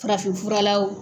Farafin furala wo